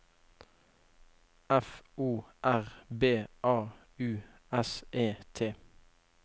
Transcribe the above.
F O R B A U S E T